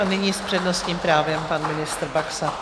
A nyní s přednostním právem pan ministr Baxa.